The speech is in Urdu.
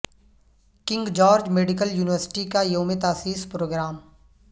king George medical university کا یوم تاسیس پروگرام